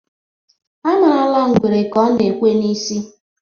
A marala ngwere ka ọ na-ekwe n'isi.